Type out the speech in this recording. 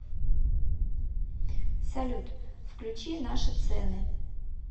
салют включи наши цены